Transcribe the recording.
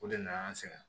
O de nana an sɛgɛn